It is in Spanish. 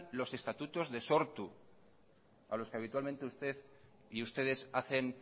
los estatutos de sortu a los que habitualmente usted y ustedes hacen